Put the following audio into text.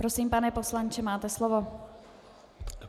Prosím, pane poslanče, máte slovo.